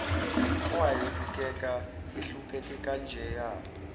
owayebukeka ehlupheke kanjeya